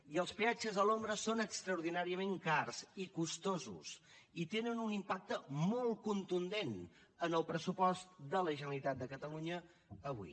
i els peatges a l’ombra són extraordinàriament cars i costosos i tenen un impacte molt contundent en el pressupost de la generalitat de catalunya avui